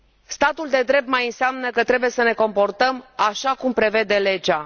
Statul de drept mai înseamnă că trebuie să ne comportăm așa cum prevede legea.